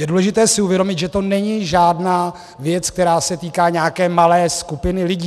Je důležité si uvědomit, že to není žádná věc, která se týká nějaké malé skupiny lidí.